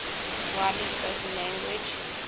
widely spoken language